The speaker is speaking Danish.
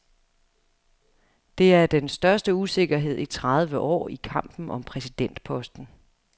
Det er den største usikkerhed i tredive år i kampen om præsidentposten.